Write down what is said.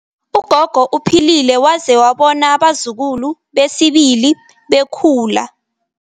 Ugogo uphilile waze wabona abazukulu besibili bekhula.